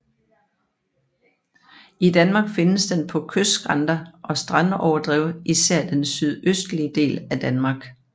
I Danmark findes den på kystskrænter og strandoverdrev især den sydøstlige del af Danmark